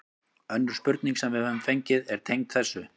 Önnur spurning sem við höfum fengið er tengd þessu: